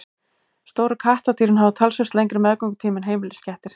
stóru kattardýrin hafa talsvert lengri meðgöngutíma en heimiliskettir